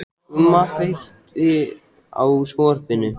Gumma, kveiktu á sjónvarpinu.